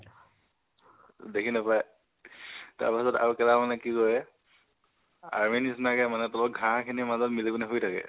দেখি নাপাই। তাৰ পিছত আৰু কেইটা মানে কি কৰে, army নিচিনাকে মানে তলত ঘাহঁ খিনিৰ মাজৰ মিলি পিনে শুই থাকে।